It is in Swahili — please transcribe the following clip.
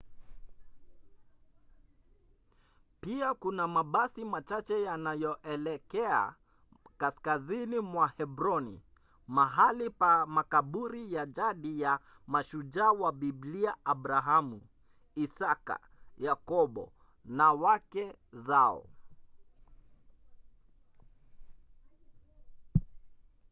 pia kuna mabasi machache yanayoelekea kaskazini mwa hebroni mahali pa makaburi ya jadi ya mashujaa wa biblia abrahamu isaka yakobo na wake zao